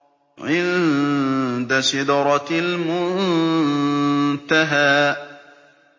عِندَ سِدْرَةِ الْمُنتَهَىٰ